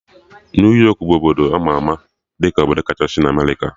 New York bụ obodo ama ama dị ka obodo kachasị na Amerịka